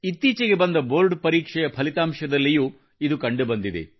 ಇತ್ತೀಚೆಗೆ ಬಂದ ಬೋರ್ಡ್ ಪರೀಕ್ಷೆಯ ಫಲಿತಾಂಶದಲ್ಲಿಯೂ ಇದು ಕಂಡುಬಂದಿದೆ